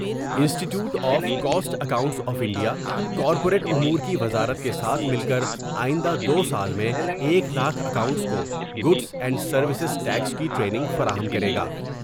انسٹی ٹیوٹ of cost accounts of India corporate امور کی وزارت کے ساتھ مل کر آئندہ دوسال میں ایک لاکھ کاؤنٹنٹس کو گوڈس اینڈ سرویس ٹیکس کی ٹرینگ فراہم کرے گا ۔